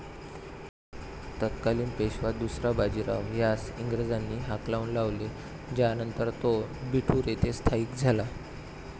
तत्कालीन पेशवा दुसरा बाजीराव ह्यास इंग्रजांनी हाकलून लावले ज्यानंतर तो बिठूर येथे स्थायीक झाला.